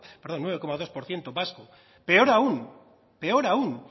perdón nueve coma dos por ciento vasco peor aún peor aún